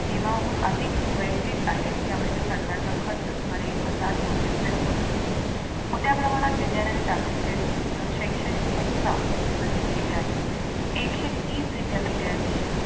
नियमाहून अधिक वयक्तिक आहे यावर्षी सरकारचा खर्च सुमारे एक हजार कोटी रुपय होतो. मोठ्या प्रमाणात विज्ञानाने तांत्रिक अं शैक्षणिक संस्था विकसित केल्या आहेत एकशे तीस विद्यापीठे आणि